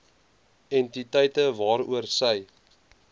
entiteite waaroor sy